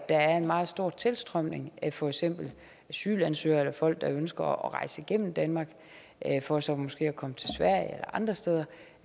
er en meget stor tilstrømning af for eksempel asylansøgere eller folk der ønsker at rejse igennem danmark for så måske at komme til sverige eller andre steder